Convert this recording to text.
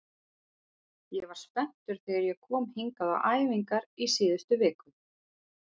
Ég var spenntur þegar ég kom hingað á æfingar í síðustu viku.